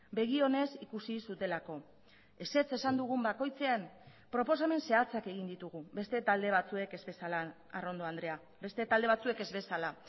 begi onez ikusi zutelako ezetz esan dugun bakoitzean proposamen zehatzak egin ditugu beste talde batzuek ez bezala arrondo andrea beste talde batzuek ez bezala